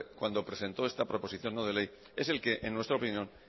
cuando presentó esta proposición no de ley es el que en nuestra opinión